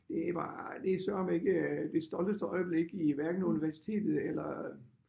Det var det er sørme ikke det stolteste øjeblik i hverken universitetet eller